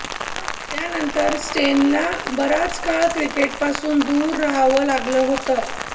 त्यानंतर स्टेनला बराच काळ क्रिकेटपासून दूर राहावं लागलं होत